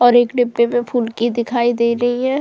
और एक डीब्बे में फुल्की दिखाई दे रही है।